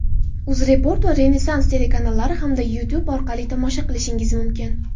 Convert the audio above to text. "UzReport" va "Renessans" telekanallari hamda Youtube orqali tomosha qilishingiz mumkin.